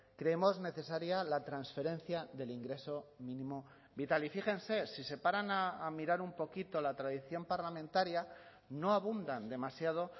creemos necesaria la transferencia del ingreso mínimo vital y fíjense si se paran a mirar un poquito la tradición parlamentaria no abundan demasiado